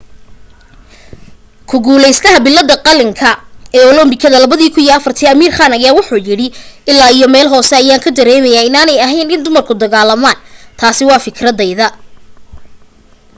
ku guulaystaha billadda qalinka ee olambikadii 2004 amir khan ayaa yiri ilaa iyo meel hoose ayaa ka dareemayaa inaanay ahayn in dumarku dagaalamaan. taasi waa fikradayda.